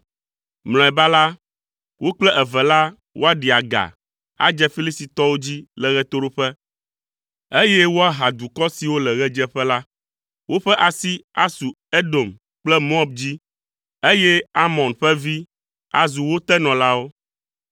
Mlɔeba la, wo kple eve la woaɖi aga adze Filistitɔwo dzi le ɣetoɖoƒe, eye woaha dukɔ siwo le ɣedzeƒe la. Woƒe asi asu Edom kple Moab dzi, eye Amon ƒe vi azu wo tenɔlawo.